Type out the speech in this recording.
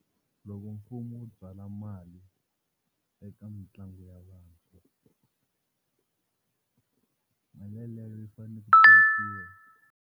Loko mfumo wu byala mali eka mitlangu ya vantshwa, mali yeleyo yi fanele ku .